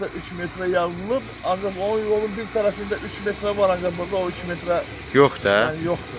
Orda işarədə üç metrə yazılıb, ancaq o yolun bir tərəfində üç metrə var, ancaq burda o üç metrə yoxdur.